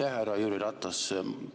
Aitäh, härra Jüri Ratas!